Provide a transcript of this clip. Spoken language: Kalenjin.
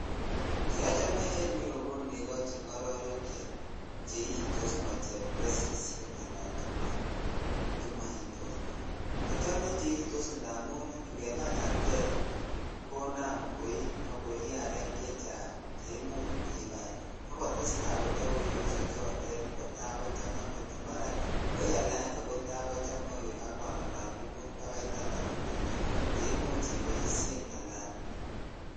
Che ochome en you ko neko che ngororek che itos moo chemakwesishek ala chemaitos achome cheitos indamuningebai artet konam koi ak koi arek chechang ak kotes tai koiyoso chotonkota kochang kot ko kara koial aenge kotai kochang koik anganalan bakaiolino mut ak taman che imuche iolishen alan.